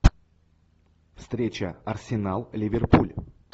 встреча арсенал ливерпуль